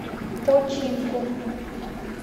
починком